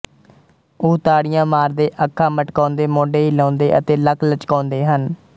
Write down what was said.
ਉਹ ਤਾੜੀਆਂ ਮਾਰਦੇ ਅੱਖਾਂ ਮਟਕਾਉਂਦੇ ਮੋਢੇ ਹਿਲਾਉਂਦੇ ਅਤੇ ਲੱਕ ਲਚਕਾਉਂਦੇ ਹਨ